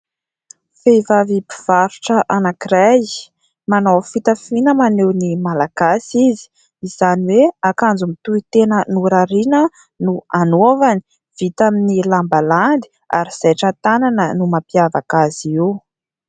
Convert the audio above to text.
Vehivavy mpivarotra anankiray. Manao fitafiana maneho ny malagasy izy izany hoe akanjo mitoitena norariana no anaovany. Vita amin'ny lamba landy ary zaitra tanana no mampiavaka azy io.